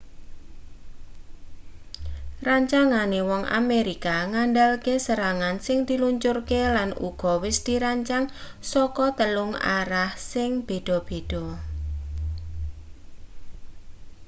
rancangane wong amerika ngandalke serangan sing diluncurke lan uga wis dirancang saka telung arah sing beda-beda